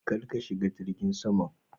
Kar ka shiga jirgin saman.